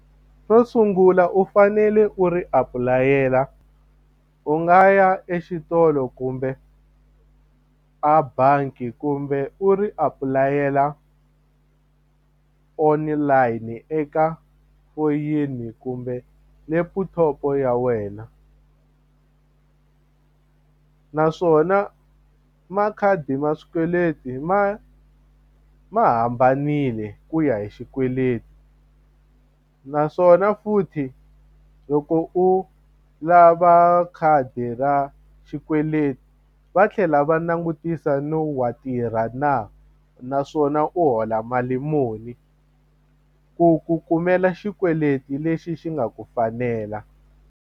Xo sungula u fanele u ri apulayela u nga ya exitolo kumbe a bangi kumbe u ri apulayela online eka foyini kumbe leputhopo ya wena naswona makhadi ma swikweleti ma ma hambanile ku ya hi xikweleti naswona futhi loko u lava khadi ra xikweleti va tlhela va langutisa no wa tirha na naswona u hola mali muni ku ku kumela xikweleti lexi xi nga ku fanela.